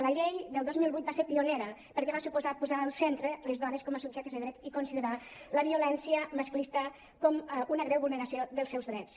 la llei del dos mil vuit va ser pionera perquè va suposar posar al centre les dones com a subjectes de dret i considerar la violència masclista com una greu vulneració dels seus drets